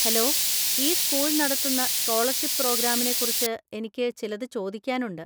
Hello, ഈ school നടത്തുന്ന scholarship പ്രോഗ്രാമിനെക്കുറിച്ച് എനിക്ക് ചിലത് ചോദിക്കാനുണ്ട്.